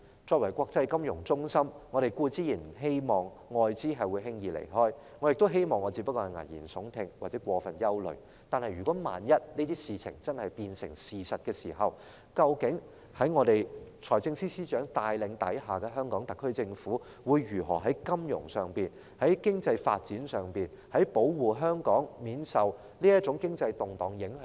作為國際金融中心，我們當然不希望外國的資金輕易離開，我亦希望自己只是危言聳聽或過分憂慮，但萬一這些事情真的變成事實，究竟在財政司司長帶領下，香港特區政府會如何在金融上、在經濟發展上，保護香港免受這種經濟動盪影響？